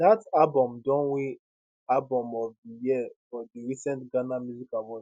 dat album don win album of di year for di recent ghana music awards